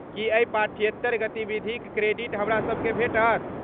की एहि पाठ्येतर गतिविधिक क्रेडिट हमरासबकेँ भेटत?